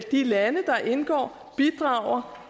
de lande der indgår bidrager